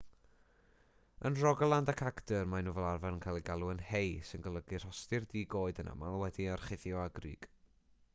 yn rogaland ac agder maen nhw fel arfer yn cael eu galw yn hei sy'n golygu rhostir di-goed yn aml wedi'i orchuddio â grug